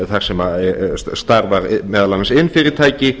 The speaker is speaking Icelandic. þar sem starfar meðal annars iðnfyrirtæki